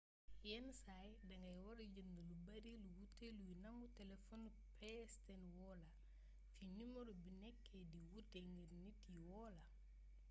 yénn say dangay wara jeend lu beeri lu wuté luy nangu téléfonu pstn woola fi numaro bi nékké di wuuté ngir nit yi woola